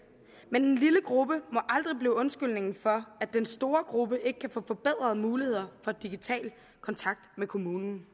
men en lille gruppe må aldrig blive undskyldningen for at den store gruppe ikke kan få forbedrede muligheder for digital kontakt med kommunen